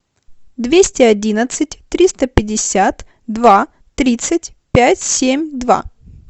двести одинадцать триста пятьдесят два тридцать пять семь два